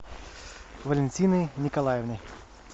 валентиной николаевной